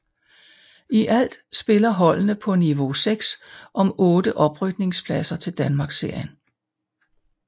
I alt spiller holdene på niveau 6 om otte oprykningspladser til Danmarksserien